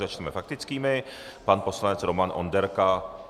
Začneme faktickými: pan poslanec Roman Onderka.